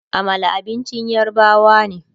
Amala abincin yarbawa ne